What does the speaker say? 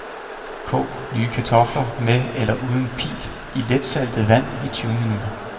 Kog nye kartofler med eller uden pil i letsaltet vand i tyve minutter.